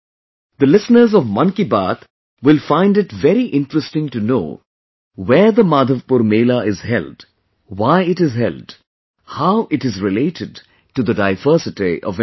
The listeners of Mann Ki Baat will find it very interesting to know where the Madhavpur Mela is held, why it is held, how it is related to the diversity of India